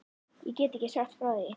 Ég get ekki sagt frá því.